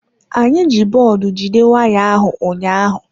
Anyị ji bọọdụ jide waya ahụ ụnyaahụ.